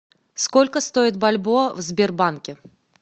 сколько стоит бальбоа в сбербанке